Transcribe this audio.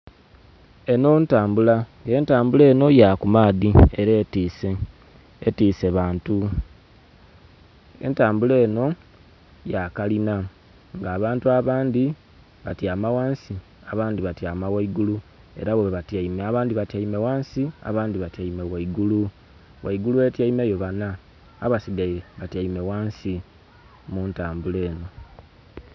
Eno ntambula. Entambula eno ya kumaadhi ere etise, etise bantu. Entambula eno ya kalina nga abantu abandi batiama ghansi abandi batiama ghaigulu era ghe batiame. Abandi batiame ghansi abandi ghaigulu. Ghaigulu etiameyo bana, abasigaire batiame ghansi mutambula eno